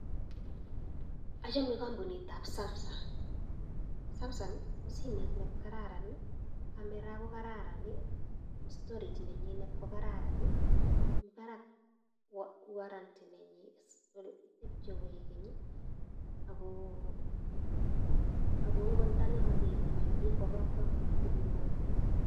Achame kampunitab samsung. Samsung ko simet ne kararan, camera ko kararan, storage nenyinet ko kararan, mi barak warranty nenyi, tepchei koegeny ago, ago ngot ndang'emak iwektei kwo kap kampunit ibimwaitei.